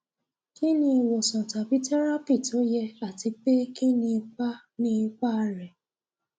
kí ni ìwòsàn tàbí tẹrápì tó yẹ àti pé kí ni ipa ni ipa rẹ